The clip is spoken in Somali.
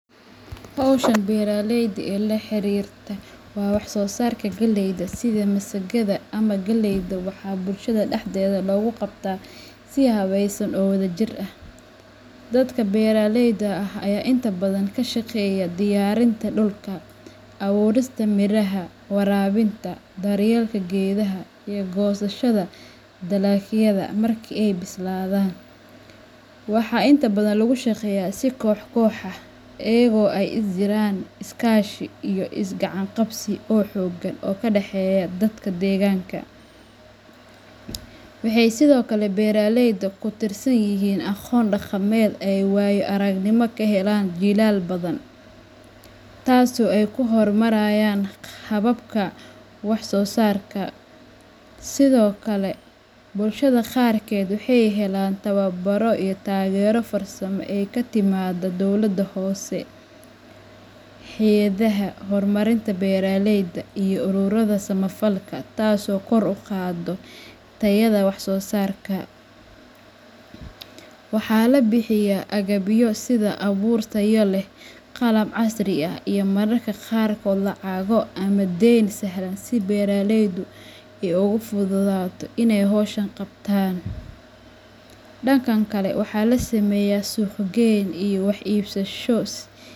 Hawshan beeraleyda ee la xiriirta wax soo saarka dalagyada sida masagada ama galleyda waxaa bulshada dhexdeeda looga qabtaa si habaysan oo wadajir ah. Dadka beeraleyda ah ayaa inta badan ka shaqeeya diyaarinta dhulka, abuurista miraha, waraabinta, daryeelka geedaha iyo goosashada dalagyada marka ay bislaadaan. Waxaa inta badan lagu shaqeeyaa si koox koox ah, iyadoo ay jiraan is kaashi iyo is gacan qabsi oo xooggan oo ka dhexeeya dadka deegaanka. Waxay sidoo kale beeraleyda ku tiirsan yihiin aqoon dhaqameed ay waayo aragnimo ku heleen jiilal badan, taasoo ay ku horumariyaan hababka wax soo saarka. Sidoo kale, bulshada qaarkeed waxay helaan tababaro iyo taageero farsamo oo ka timaadda dowladaha hoose, hay'adaha horumarinta beeraleyda, iyo ururrada samafalka, taas oo kor u qaadda tayada wax soo saarkooda. Waxaa la bixiyaa agabyo sida abuur tayo leh, qalab casri ah iyo mararka qaarkood lacago ama deyn sahlan si beeraleydu ay ugu fududaato inay hawshan qabtaan. Dhanka kale, waxaa la sameeyaa suuq gayn iyo wax iibsasho.